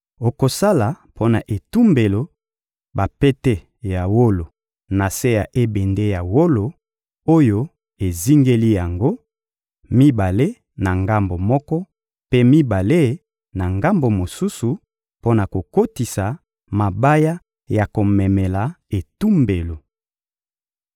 Okosala mpo na etumbelo bapete ya wolo na se ya ebende ya wolo oyo ezingeli yango: mibale na ngambo moko, mpe mibale na ngambo mosusu; mpo na kokotisa mabaya ya komemela etumbelo.